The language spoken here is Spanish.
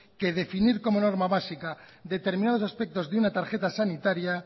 que definir como norma básica determinados aspectos de una tarjeta sanitaria